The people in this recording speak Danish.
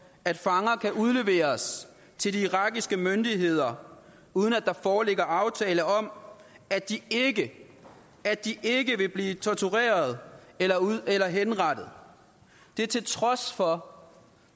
at fanger kan udleveres til de irakiske myndigheder uden at der foreligger en aftale om at de ikke vil blive tortureret eller henrettet det til trods for